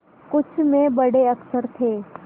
कुछ में बड़े अक्षर थे